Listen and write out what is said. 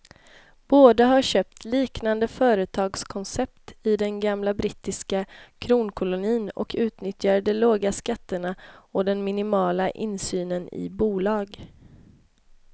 Båda har köpt liknande företagskoncept i den gamla brittiska kronkolonin och utnyttjar de låga skatterna och den minimala insynen i bolag.